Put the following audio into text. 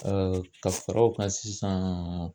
ka fara o kan sisan